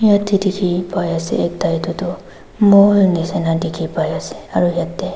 dikhi paiase ekta edu tu mall nishina dikhipaiase aru yatae--